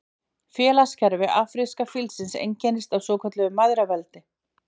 Félagskerfi afríska fílsins einkennist af svokölluðu mæðraveldi.